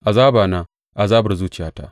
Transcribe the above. Azabana, azabar zuciyata!